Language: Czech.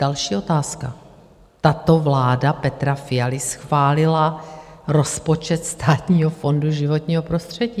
Další otázka: Tato vláda Petra Fialy schválila rozpočet Státního fondu životního prostředí.